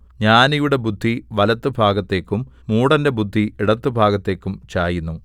ജ്ഞാനിയുടെ ബുദ്ധി വലത്തുഭാഗത്തേക്കും മൂഢന്റെ ബുദ്ധി ഇടത്തുഭാഗത്തേക്കും ചായുന്നു